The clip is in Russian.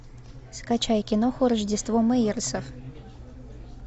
скачай киноху рождество мэйерсов